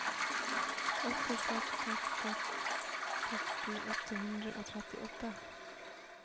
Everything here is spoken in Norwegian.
åtte seks seks seks seksti åtte hundre og trettiåtte